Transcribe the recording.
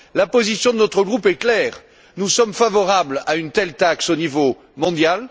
La position de notre groupe est claire nous sommes favorables à une telle taxe au niveau mondial